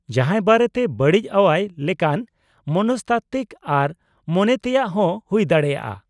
-ᱡᱟᱦᱟᱸᱭ ᱵᱟᱨᱮᱛᱮ ᱵᱟᱹᱲᱤᱡ ᱟᱹᱣᱟᱹᱭ ᱞᱮᱠᱟᱱ ᱢᱚᱱᱚᱥᱛᱟᱛᱛᱤᱠ ᱟᱨ ᱢᱚᱱᱮᱛᱮᱭᱟᱜ ᱦᱚᱸ ᱦᱩᱭ ᱫᱟᱲᱮᱭᱟᱜᱼᱟ ᱾